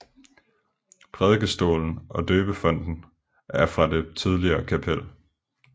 Prædikestolen og døbefonten er fra det tidligere kapel